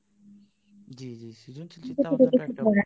জ্বী জ্বী সৃজনশীল চিন্তা ভাবনা টা